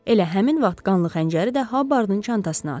Elə həmin vaxt qanlı xəncəri də Habardın çantasına atıb.